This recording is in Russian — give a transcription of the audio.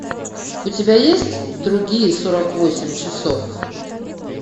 у тебя есть другие сорок восемь часов